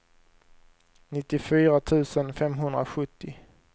nittiofyra tusen femhundrasjuttio